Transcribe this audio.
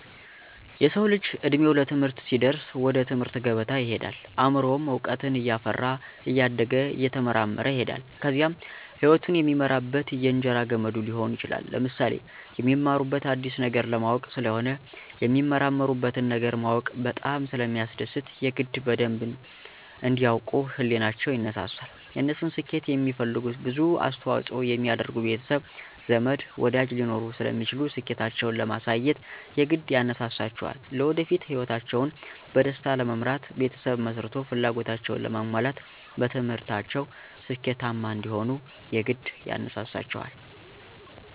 የሰዉ ልጅ እድሜዉ ለትምህርት ሲደርስ ወደ ትምህርት ገበታ ይሄዳል አምሮዉም እዉቀትን እያፈራ እያደገ እየተመራመረ ይሄዳል ከዚያም ህይወቱን የሚመራበት የእንጀራ ገመዱ ሊሆን ይችላል። ለምሳሌ፦ የሚማሩት አዲስ ነገር ለማወቅ ስለሆነ የሚመራመሩበትን ነገር ማወቅ በጣም ስለሚያስደስት የግድ በደንብ እንዲ ያዉቁ ህሊቸዉ ይነሳሳል፣ የነሱን ስኬት የሚፈልጉ ብዙ አስተዋፅኦ የሚያደርጉ ቤተሰብ፣ ዘመድ፣ ወዳጅ ሊኖሩ ስለሚችሉ ስኬታቸዉን ለማሳየት የግድ ያነሳሳቸዋልለወደፊት ህይወታቸዉን በደስታ ለመምራት ቤተሰብ መስርቶ ፍላጎታቸዉን ለማሟላት በትምህርታቸዉ ስኬታማ እንዲሆኑም የግድ ያነሳሳቸዋል።